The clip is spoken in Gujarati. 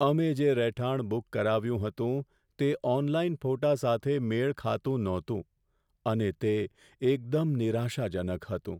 અમે જે રહેઠાણ બુક કરાવ્યું હતું, તે ઓનલાઈન ફોટા સાથે મેળ ખાતું ન હતું, અને તે એકદમ નિરાશાજનક હતું.